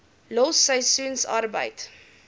los seisoensarbeid